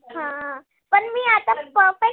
हा. पण मी आता perfect